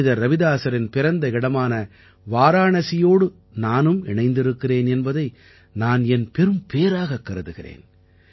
புனிதர் ரவிதாஸரின் பிறந்த இடமான வாராணசியோடு நானும் இணைந்திருக்கிறேன் என்பதை நான் என் பெரும் பேறாகக் கருதுகிறேன்